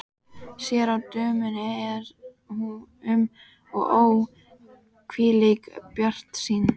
Sér að dömunni er um og ó, hvílík bjartsýni!